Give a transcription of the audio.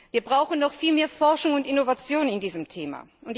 Wir brauchen noch viel mehr Forschung und Innovation bei diesem Thema.